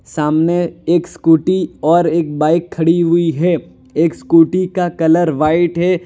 सामने एक स्कूटी और एक बाइक खड़ी हुई है। एक स्कूटी का कलर व्हाइट है।